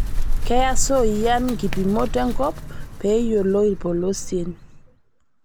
Keyaa sooiyian nkipimot enkop pee eyiolou ilpolosien